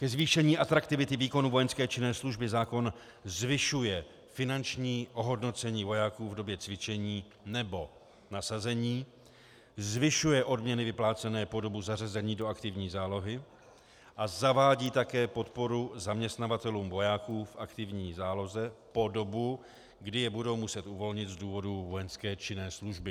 Ke zvýšení atraktivity výkonu vojenské činné služby zákon zvyšuje finanční ohodnocení vojáků v době cvičení nebo nasazení, zvyšuje odměny vyplácené po dobu zařazení do aktivní zálohy a zavádí také podporu zaměstnavatelům vojáků v aktivní záloze po dobu, kdy je budou muset uvolnit z důvodu vojenské činné služby.